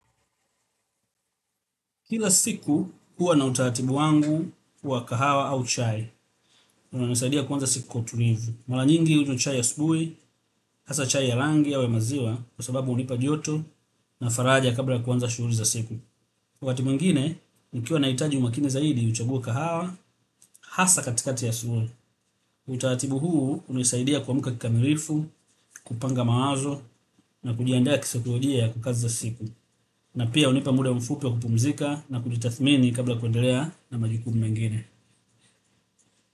Kila siku huwa na utaratibu wangu wa kahawa au chai, unanisaidia kuanza siku kwa utulivu. Mara nyingi hunywa chai ya asubuhi, hasa chai ya rangi yawe maziwa kwa sababu hunipa joto na faraja kabla ya kuanza shughuli za siku. Wakati mwingine, nikiwa nahitaji umakini zaidi, huchagua kahawa, hasa katikati ya asubuhi. Utaratibu huu hunisaidia kuamka kikamilifu, kupanga mawazo na kujiandaa kisaikolojia kukaza siku. Na pia hunipa muda mfupi wa kupumzika na kujitathmini kabla ya kuendelea na majukumu mengine.